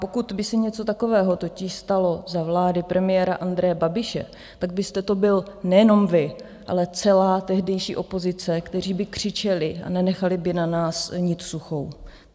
Pokud by se něco takového totiž stalo za vlády premiéra Andreje Babiše, tak byste to byl nejenom vy, ale celá tehdejší opozice, kteří by křičeli a nenechali by na nás niť suchou.